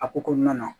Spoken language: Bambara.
A ko kɔnɔna na